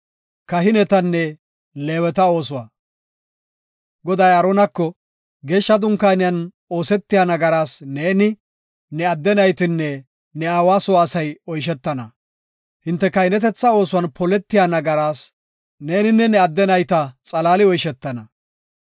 Goday Aaronako, “Geeshsha dunkaaniyan oosetiya nagaraas neeni, ne adde naytinne ne aawa soo asay oyshetana; hinte kahinetetha oosuwan poletiya nagaraa nenne ne adde nayta xalaali oyshetana.